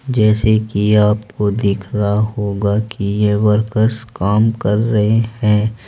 जैसे की आपको दिख रहा होगा कि ये वर्कर्स काम कर रहे हैं।